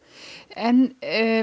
en